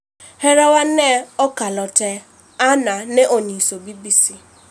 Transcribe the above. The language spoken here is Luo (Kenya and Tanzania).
Hera wa ne okalo te," Ann ne onyiso BBC